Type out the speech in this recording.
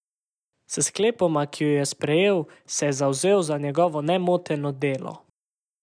S sklepoma, ki ju je sprejel, se je zavzel za njegovo nemoteno delo.